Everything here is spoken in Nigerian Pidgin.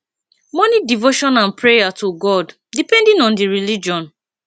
morning devotion and prayer to god depending on di religion